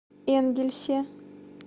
энгельсе